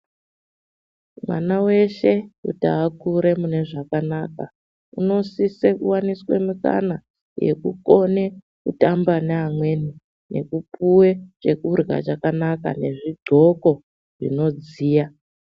Mwana wese kuti Akure mune zvakanaka unosisa kuwaniswe mukana yekukone kutamba neamweni nekupuwa chekurya chakanaka nezvighloko zvinodziya.